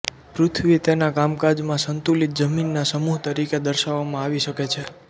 પૃથ્વી તેના કામકાજમાં સંતુલિત જમીનના સમૂહ તરીકે દર્શાવવામાં આવી શકે છે